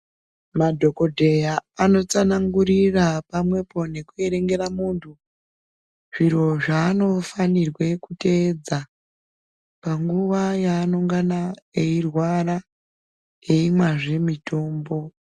Madhokodheya anotsanangurira pamwepo nekuerengera munthu zviro zvaanofanirwe kuteedza panguwa yaanengana eirwara eimwazve mitombo.